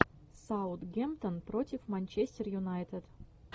саутгемптон против манчестер юнайтед